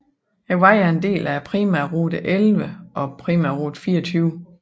Vejen er en del af primærrute 11 og primærrute 24